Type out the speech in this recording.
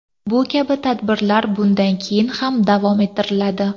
Bu kabi tadbirlar bundan keyin ham davom ettiriladi.